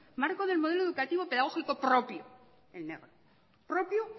marco del modelo educativo pedagógico propio en negro propio